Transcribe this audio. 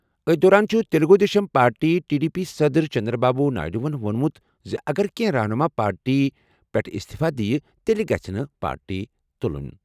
أتھۍ دوران چھُ Telugu Desam party T D P صدر چندرا بابو نائیڈوَن ووٚنمُت زِ اگر کینٛہہ رہنُما پارٹی پٮ۪ٹھ اِستِفہٕ دِیہِ تیٚلہِ گژھِ نہٕ پارٹی تُلُن.